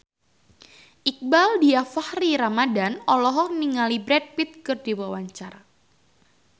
Iqbaal Dhiafakhri Ramadhan olohok ningali Brad Pitt keur diwawancara